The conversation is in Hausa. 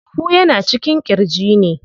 Huhu yana cikin ƙirji ne.